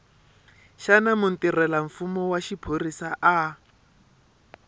xana mutirhelamfumo wa xiphorisa a